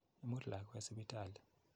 Imut lakwet sipitali.